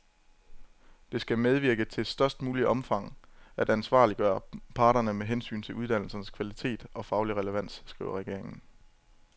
Det skal medvirke til i størst muligt omfang at ansvarliggøre parterne med hensyn til uddannelsernes kvalitet og faglige relevans, skriver regeringen.